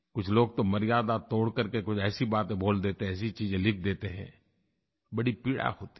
कुछ लोग तो मर्यादा तोड़ करके कुछ ऐसी बातें बोल देते हैं ऐसी चीज़ें लिख देते हैं बड़ी पीड़ा होती है